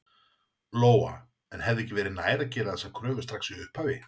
Lóa: En hefði ekki verið nær að gera þessar kröfur strax í upphafi?